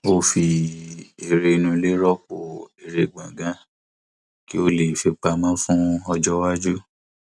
ó fi eré inú ilé rọpò eré gbòngàn kí ó lè fipamọ fún ọjọ iwájú